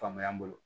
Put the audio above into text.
Faamaya n bolo